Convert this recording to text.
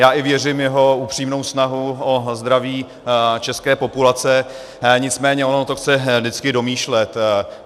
Já i věřím v jeho upřímnou snahu o zdraví české populace, nicméně ono to chce vždycky domýšlet.